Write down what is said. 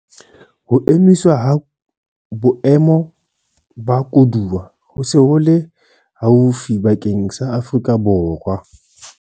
Ho emiswa ha Boemo ba Koduwa ho se ho le haufi bakeng sa Afrika Borwa